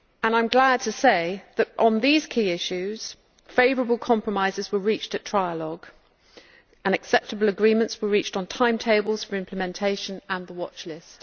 I am glad to say that on these key issues favourable compromises were reached at trialogue and acceptable agreements were reached on timetables for implementation and the watchlist.